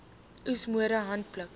oes metode handpluk